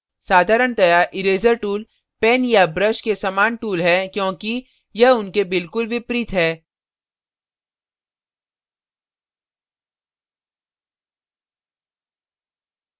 साधारणतया eraser tool pen या brush के समान tool है क्योंकि यह उनके बिल्कुल विपरीत है